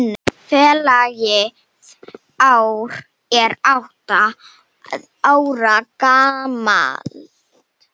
Félagið er átta ára gamalt.